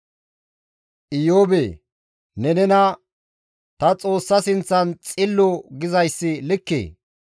«Iyoobe ne nena, ‹Tani Xoossa sinththan Xillo› gizayssi likkee?